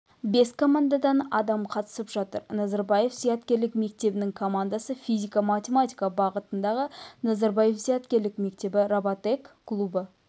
бес командадан адам қатысып жатыр назарбаев зияткерлік мектебінің командасы физика-математика бағытындағы назарбаев зияткерлік мектебі роботек клубы